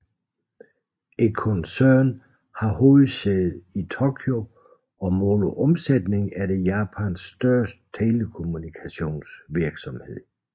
Koncernen har hovedsæde i Tokyo og målt på omsætning er det Japans største telekommunikationsvirksomhed